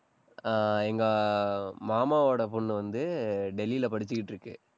அஹ் எங்க மாமாவோட பொண்ணு வந்து டெல்லியில படிச்சுக்கிட்டிருக்கு